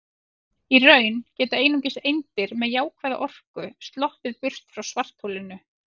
Í raun geta einungis eindir með jákvæða orku sloppið burt frá svartholinu.